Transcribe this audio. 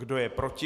Kdo je proti?